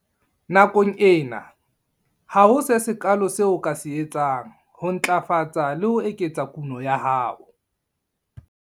Nakong ena, ha ho se sekaalo seo o ka se etsang ho ntlafatsa le ho eketsa kuno ya hao.